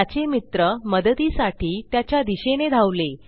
त्याचे मित्र मदतीसाठी त्याच्या दिशेने धावले